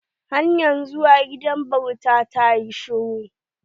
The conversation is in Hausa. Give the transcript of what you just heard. Hanyar zuwa gidan bauta ta yi shiru.